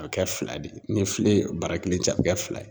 A bɛ kɛ fila de ye, ni filen ye bara kelen ci, a bɛ kɛ fila ye.